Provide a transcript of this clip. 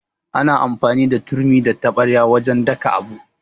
Ana amfani da turmi da taɓarya wajan daka abu